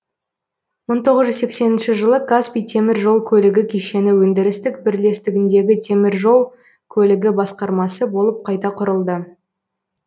мың тоғыз жүз сексенінші жылы каспий темір жол көлігі кешені өндірістік бірлестігіндегі темір жол көлігі басқармасы болып қайта құрылды